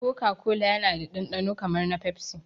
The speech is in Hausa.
Koka kola yana da dandano kamar na pepsi